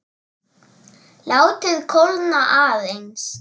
Látið kólna aðeins.